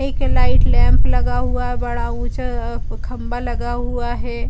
एक light lamp लगा हुआ। बड़ा ऊंचा अ खम्बा लगा हुआ है।